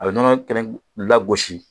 A bɛ nɔnɔ kɛnɛ lagosi